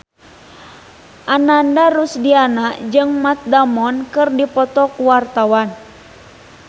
Ananda Rusdiana jeung Matt Damon keur dipoto ku wartawan